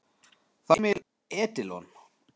Það var Emil Edilon.